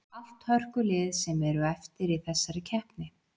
Allt hörkulið sem eru eftir í þessari keppni.